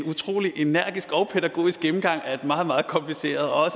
utrolig energisk og pædagogisk gennemgang af et meget meget kompliceret og